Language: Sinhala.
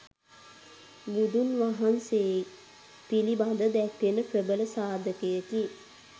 බුදුන් වහන්සේ පිළිබද දැක්වෙන ප්‍රබල සාධකයකි.